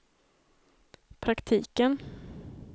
praktiken